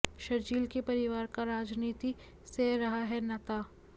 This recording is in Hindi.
शरजील के परिवार का राजनीति से रहा है नाता